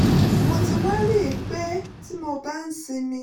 mo ti wá rí i pé tí mo bá ń sinmi